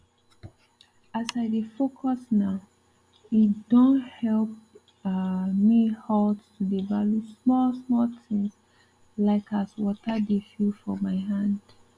as i dey focus nowe don help um me halt to dey value small small things like as water dey feel for my hand